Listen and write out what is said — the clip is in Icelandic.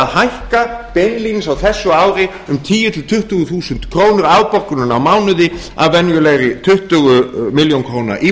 hækka beinlínis á þessu ári um tíu til tuttugu þúsund krónur afborgunin á mánuði af venjulegri tuttugu milljónir króna